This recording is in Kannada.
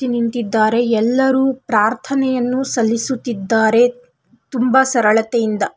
ನಿಂತಿದ್ದಾರೆ ಎಲ್ಲರು ಪ್ರಾರ್ಥನೆಯನ್ನು ಸಲ್ಲಿಸುತ್ತಿದ್ದಾರೆ ತುಂಬ ಸರಳತೆಯಿಂದ.